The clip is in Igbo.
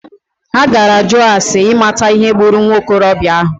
Ha gara jụọ ase imata ihe gburu nwokorobịa ahụ.